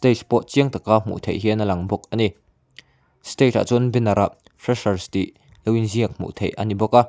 stage pawh chiang taka hmuh theih hian a lang bawk a ni stage ah chuan banner ah freshers tih lo inziak hmuh theih a ni bawk a.